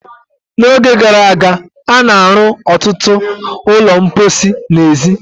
N'oge gara aga, a na-arụ ọtụtụ ụlọ mposi n'èzí.